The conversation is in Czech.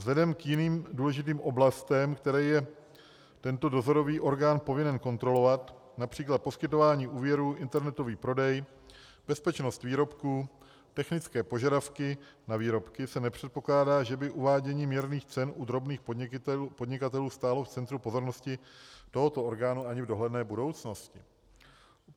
Vzhledem k jiným důležitým oblastem, které je tento dozorový orgán povinen kontrolovat, například poskytování úvěrů, internetový prodej, bezpečnost výrobků, technické požadavky na výrobky, se nepředpokládá, že by uvádění měrných cen u drobných podnikatelů stálo v centru pozornosti tohoto orgánu ani v dohledné budoucnosti.